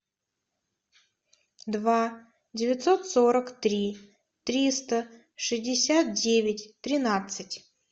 два девятьсот сорок три триста шестьдесят девять тринадцать